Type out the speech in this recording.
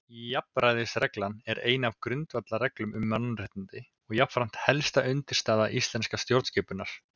Jafnræðisreglan er ein af grundvallarreglum um mannréttindi og jafnframt helsta undirstaða íslenskrar stjórnskipunar.